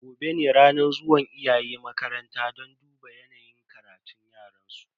Gobe ne ranar zuwan iyaye makaranta don duba yanayin karatun yaransu.